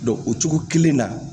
o cogo kelen na